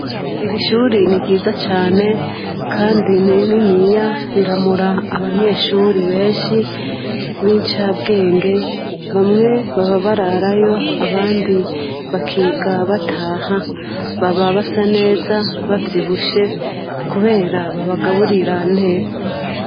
Erishurii ni ryiza cane, kandi iiniya riramura abanyeshuri benshi b'incabwenge bamwe baba bararayo abandi bakiga bataha baba basa neza bavyibushe, kubera babagaburira neza.